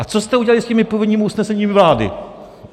A co jste udělali s těmi původními usneseními vlády?